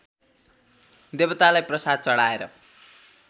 देवतालाई प्रसाद चढाएर